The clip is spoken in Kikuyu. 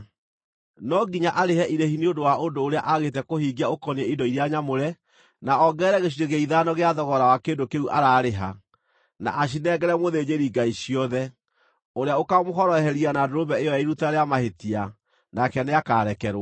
No nginya arĩhe irĩhi nĩ ũndũ wa ũndũ ũrĩa aagĩte kũhingia ũkoniĩ indo iria nyamũre, na ongerere gĩcunjĩ gĩa ithano gĩa thogora wa kĩndũ kĩu ararĩha, na acinengere mũthĩnjĩri-Ngai ciothe, ũrĩa ũkamũhoroheria na ndũrũme ĩyo ya iruta rĩa mahĩtia, nake nĩakarekerwo.